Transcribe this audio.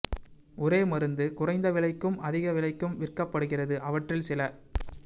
ஒரே மருந்து குறைந்த விலைக்கும் அதிக விலைக்கும் விற்கப்படுகிறது அவற்றில் சில